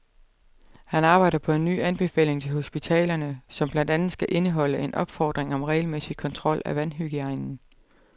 Han arbejder på en ny anbefaling til hospitalerne, som blandt andet skal indeholde en opfordring om regelmæssig kontrol af vandhygiejnen.